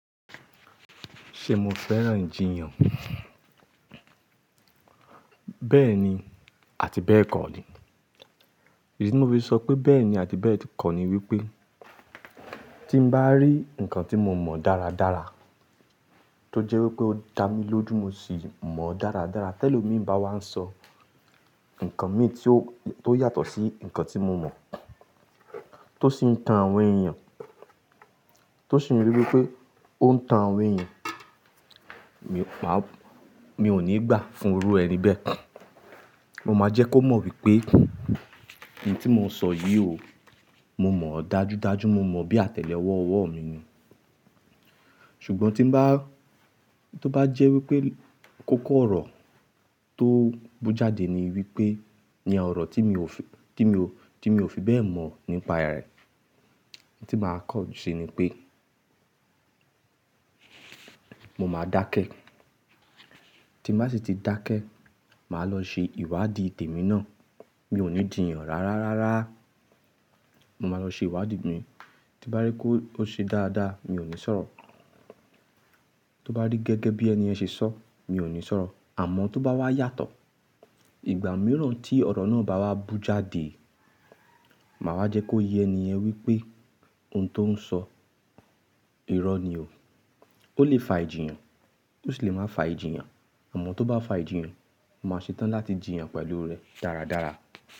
Ṣé mo fẹ́ràn ijìyàn? Bẹ́ẹ̀ni àti bẹ́ẹ̀ kọ́ ni. Ìdí tí mo fi sọ pé bẹ́ẹ̀ni àti bẹ́ẹ̀ kọ́ ni wípé tí n bá rí ǹkan tí mo mọ̀ dáradára tó jẹ́ wípé ó da mí lójú mo sì mọ̀ ọ́ dáradára, ti elomi bá wá ń sọ ǹkan mì tí ó yàtọ̀ sí ǹkan tí mo mọ̀ tó sì ń tan àwọn èèyàn, tó sì rí wípé ó ń tan àwọn èèyàn, mi ò ní gbà fún irú ẹni bẹ́ẹ̀. Mo máa jẹ́ kó mọ̀ wípé in tí mo ń sọ yìí o, mo mọ̀ ọ́ dájúdájú, mo mọ̀ ọ́ bí àtẹ́lẹwọ́ ọwọ́ mi ni. Ṣùgbọ́n tí n to bá jẹ́ wípé kókó ọ̀rọ̀ tó bú jáde ni wípé ní ọ̀rọ̀ tí mi ò fi bẹ́ẹ̀ mọ̀ nípa rẹ̀, tí màá kọ́ ọ ṣe ni pé mo máa dákẹ́. Tí n bá sì ti dákẹ́, màá lọ ṣe ìwádìí tèmi náà. Mi ò ní jìyàn rárárara. Mo máa lọ ṣe ìwádìí mi. Tí n bá rí kó ṣe dáadáa, mi ò ní sọ̀rọ̀. Tí n bá rí gẹ́gẹ́ bí ẹni ẹ́ ṣe sọ, mi ò ní sọ̀rọ̀. Àmọ́ tó bá wá yàtọ̀, ìgbà mìíràn tí ọ̀rọ̀ náà bá wá bú jáde, màá wá jẹ́ kó yẹ ẹni yẹn wípé ohun tó ń sọ irọ́ ni o. Ó lè fa ìjìyàn, ó sì lè má fa ìjìyàn. Àmọ́ tó bá fa ìjìyàn, mo máa ṣetán láti jìyàn pẹ̀lú rẹ̀ dáradára.